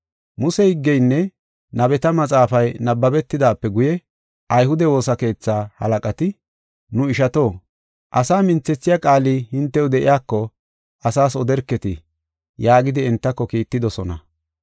Muse higgeynne nabeta maxaafay nabbabetidaape guye ayhude woosa keetha halaqati, “Nu ishato, asaa minthethiya qaali hintew de7iyako asaas oderketi” yaagidi entako kiittidosona.